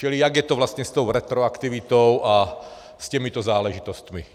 Čili jak je to vlastně s tou retroaktivitou a s těmito záležitostmi.